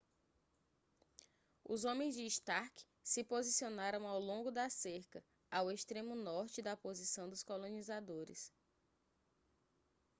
os homens de stark se posicionaram ao longo da cerca ao extremo norte da posição dos colonizadores